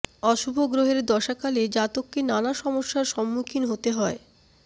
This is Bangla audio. অশুভ গ্রহের দশাকালে জাতককে নানা সমস্যার সম্মুখীন হতে হয়